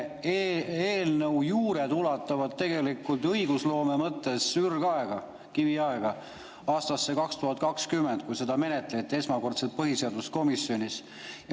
Selle eelnõu juured ulatuvad õigusloome mõttes ürgaega, kiviaega, aastasse 2020, kui seda esmakordselt põhiseaduskomisjonis menetleti.